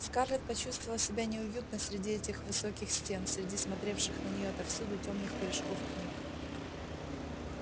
скарлетт почувствовала себя неуютно среди этих высоких стен среди смотревших на нее отовсюду тёмных корешков книг